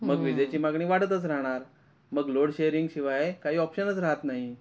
मग विजेची मागणी वाढतच राहणार मग लोड शेरिंग शिवाय काही ऑपशनच राहत नाही.